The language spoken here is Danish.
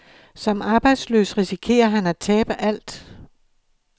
Som arbejdsløs risikerer han at tabe alt.